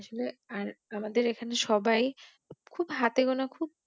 আর আমাদের এখানে সবাই খুব হাতে গোনা খুব